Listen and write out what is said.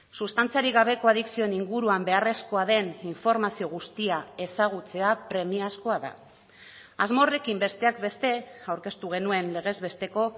sustantziarik gabeko adikzioen inguruan beharrezkoa den informazio guztia ezagutzea premiazkoa da asmo horrekin besteak beste aurkeztu genuen legez besteko